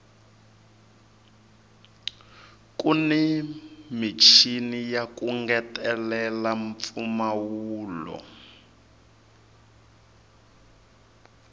kuni michini yaku ngetelela mpfumawulo